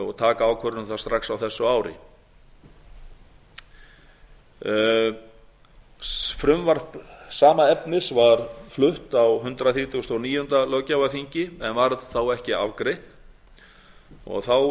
og taka ákvörðun um það strax á þessu ári frumvarp sama efnis var flutt á hundrað þrítugasta og níunda löggjafarþingi en varð ekki afgreitt